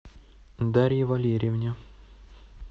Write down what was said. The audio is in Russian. дарье валерьевне